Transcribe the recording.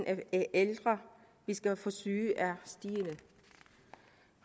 af ældre vi skal forsørge er stigende